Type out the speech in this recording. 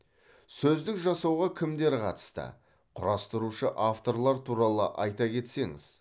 сөздік жасауға кімдер қатысты құрастырушы авторлар туралы айта кетсеңіз